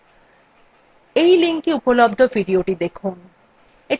এই linkএ উপলব্ধ videothe দেখুন